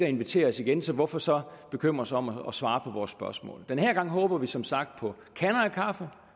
inviteres igen så hvorfor så bekymre sig om at svare på vores spørgsmål den her gang håber vi som sagt på kander af kaffe og